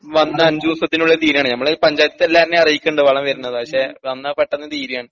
വന്നഞ്ചു ദിവസത്തിനുള്ളിൽ തീരാണ് നമ്മള് പഞ്ചായത്തെല്ലാര്നേം അറിയിക്കണ്ട് വളം വരുന്നത് പക്ഷേ വന്നാ പെട്ടന്ന് തീര്യാണ്.